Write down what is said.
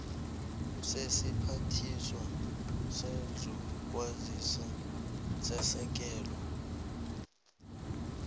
sesiphathiswa sezokwazisa sesekela